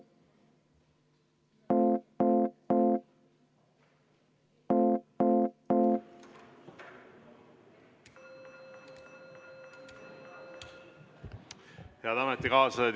Head ametikaaslased!